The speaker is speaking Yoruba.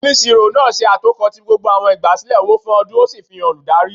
Oniṣiro náá ṣe atokọ ti gbógbó awọn igbasilẹ ọwọ fún ọdun, o sí fihán olùdarí